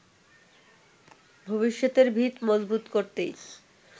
ভবিষ্যতের ভিত মজবুত করতেই